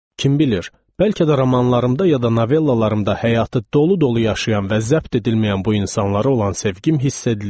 Kim bilir, bəlkə də romanlarımda, ya da novellalarımda həyatı dolu-dolu yaşayan və zəbt edilməyən bu insanlara olan sevgim hiss edilir.